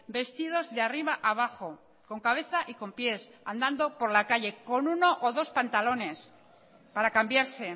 vestidos de arriba a abajo con cabeza y con pies andando por la calle con uno o dos pantalones para cambiarse